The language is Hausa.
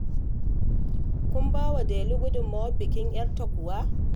Kun ba wa Delu gudummawar bikin 'yarta kuwa?